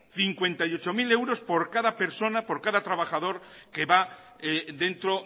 cincuenta y ocho mil por cada persona por cada trabajador que va dentro